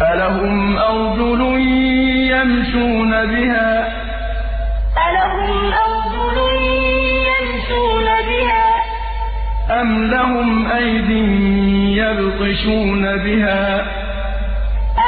أَلَهُمْ أَرْجُلٌ يَمْشُونَ بِهَا ۖ أَمْ لَهُمْ أَيْدٍ يَبْطِشُونَ بِهَا ۖ